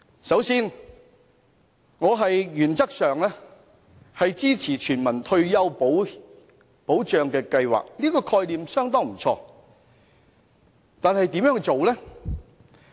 首先，我原則上支持全民退休保障計劃，覺得這個概念不錯，但如何落實？